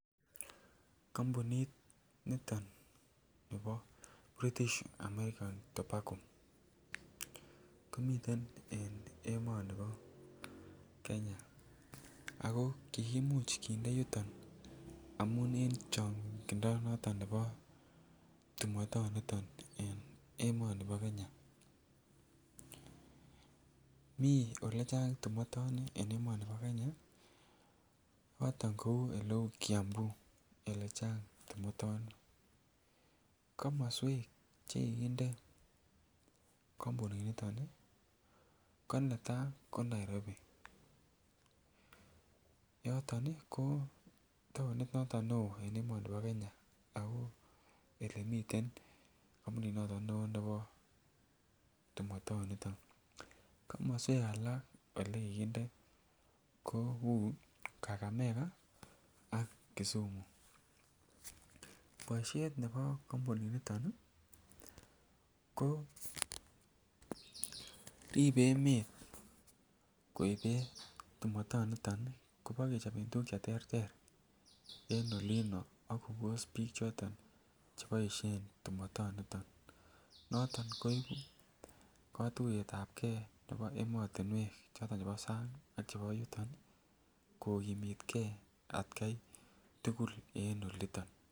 Kompunit niton nebo British American tobacco komiten en emoni bo Kenya ako kimuch kinde yuton en changindo nebo tumotoniton en emoni bo Kenya mi Ole chang tumotoni en emoni bo Kenya choton kou oleu Kiambu Ole chang tumotoni komoswek Che ki kinde kompuninito ko netai ko Nairobi yoton ko taonit neo en emoni bo Kenya yoton ko olemiten kampuninito bo tumotet komoswek Ole kikinde kou kakamega ak kisumu boisiet nebo kompuninito koribe emet koibe tumotet kobo kechoben tuguk Che terter en olinto ak kobos bik Che boisien tumotoni noton ko ibu kotuyetbgei noton nebo emotinwek chebo sang ak chebo yuton kokimitgei atgai tugul en olito